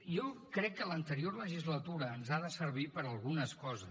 jo crec que l’anterior legislatura ens ha de servir per a algunes coses